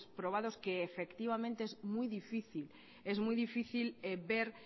probados que efectivamente es muy difícil es muy difícil ver